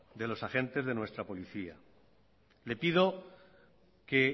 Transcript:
de los agentes de nuestra policía le pido que